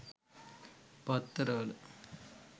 පත්තර වල